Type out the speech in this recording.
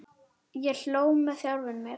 Ég hló með sjálfum mér.